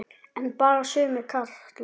En bara sumir karlar.